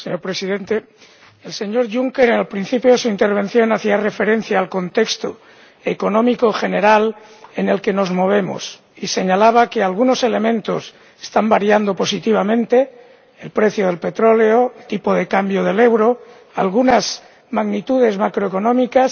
Señor Presidente, el señor Juncker, al principio de su intervención, hacía referencia al contexto económico general en el que nos movemos y señalaba que algunos elementos están variando positivamente ―el precio del petróleo, el tipo de cambio del euro, algunas magnitudes macroeconómicas―